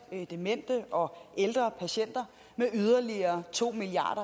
demente og ældre patienter med yderligere to milliard